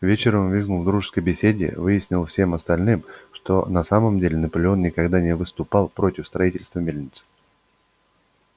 вечером визгун в дружеской беседе объяснил всем остальным что на самом деле наполеон никогда не выступал против строительства мельницы